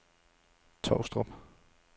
Tovstrup